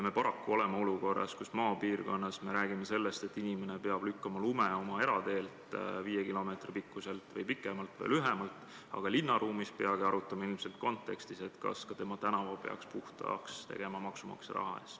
Me paraku oleme olukorras, kus maapiirkonnas me räägime sellest, et inimene peab lükkama lume oma erateelt, viie kilomeetri pikkuselt või pikemalt või lühemalt teelt, aga linnaruumis peagi arutleme ilmselt kontekstis, kas ka tema tänava peaks puhtaks tegema maksumaksja raha eest.